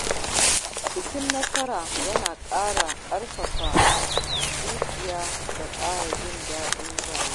Bikin nasara yana ƙarfafa zuciya da ƙara jin daɗin rayuwa.